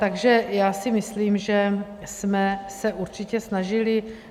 Takže já si myslím, že jsme se určitě snažili.